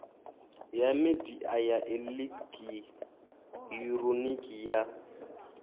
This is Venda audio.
ya midia ya elekihironiki ya